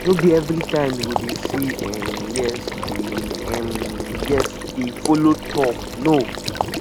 no be evritime yu go dey say um yes dey um yes dey follow tok no